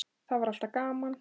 Það var alltaf gaman.